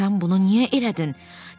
Axı sən bunu niyə elədin?